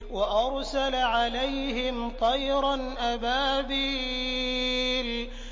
وَأَرْسَلَ عَلَيْهِمْ طَيْرًا أَبَابِيلَ